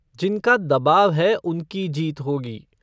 जिनका दबाव है उनकी जीत होगी।